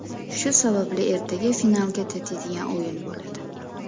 Shu sababli ertaga finalga tatiydigan o‘yin bo‘ladi.